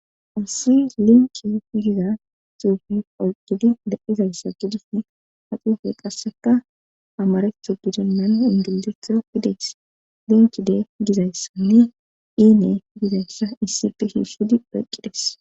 ussi linke piyiza xuufi oqqidi da7izayssa gudusne ha xuufe qasseka amarethu bidennan ingildetha fideys linkide gizayssanne diine gizayssa issefe hishudi pheqqidhes